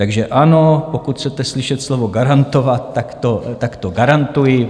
Takže ano, pokud chcete slyšet slovo garantovat, tak to garantuji.